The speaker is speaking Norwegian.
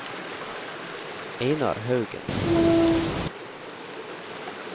Einar Haugen